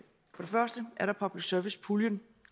først er der public service puljen